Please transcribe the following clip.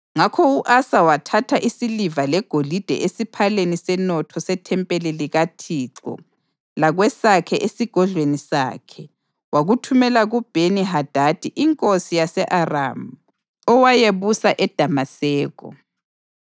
Ngakho u-Asa wathatha isiliva legolide esiphaleni senotho sethempeli likaThixo lakwesakhe esigodlweni sakhe wakuthumela kuBheni-Hadadi inkosi yase-Aramu, owayebusa eDamaseko.